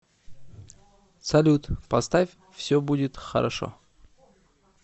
салют поставь все будет хорошо